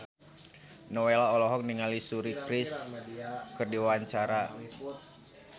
Nowela olohok ningali Suri Cruise keur diwawancara